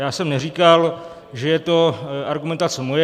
Já jsem neříkal, že je to argumentace moje.